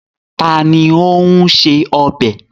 Ta ni ó ń se ọbẹ̀?